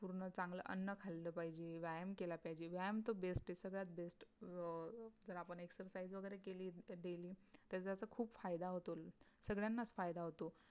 पूरण खली अन खलियल पहिच वियाम कलपहिचे